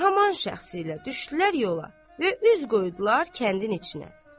Və həmin şəxsilə düşdülər yola və üz qoydular kəndin içinə.